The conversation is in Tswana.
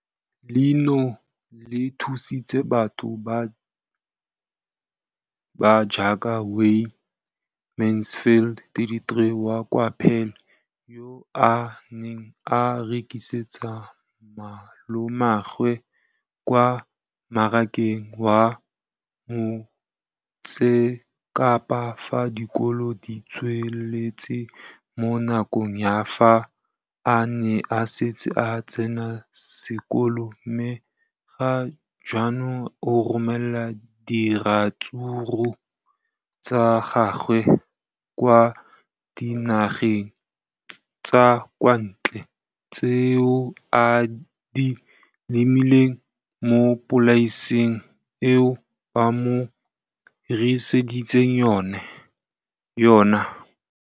leno le thusitse batho ba ba jaaka Wayne Mansfield, 33, wa kwa Paarl, yo a neng a rekisetsa malomagwe kwa Marakeng wa Motsekapa fa dikolo di tswaletse, mo nakong ya fa a ne a santse a tsena sekolo, mme ga jaanong o romela diratsuru tsa gagwe kwa dinageng tsa kwa ntle tseo a di lemileng mo polaseng eo ba mo hiriseditseng yona.